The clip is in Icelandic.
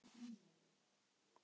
Þökk fyrir allt.